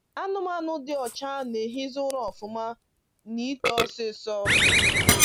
Anụmanụ dị ọcha na-ehizi ụra ọfụma na ito ọsịsọ.